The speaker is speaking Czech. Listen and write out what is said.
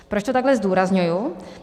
Proč to takhle zdůrazňuji?